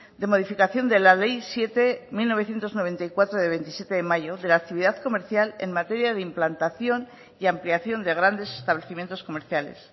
de modificación de la ley siete barra mil novecientos noventa y cuatro de veintisiete de mayo de la actividad comercial en materia de implantación y ampliación de grandes establecimientos comerciales